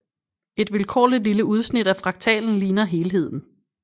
Et vilkårligt lille udsnit af fraktalen ligner helheden